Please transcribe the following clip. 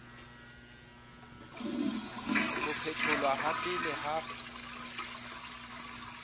ho phetholwa ha pele ha